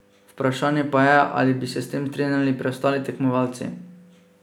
Vprašanje pa je, ali bi se s tem strinjali preostali tekmovalci.